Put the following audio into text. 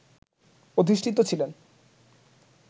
অধিষ্ঠিত ছিলেন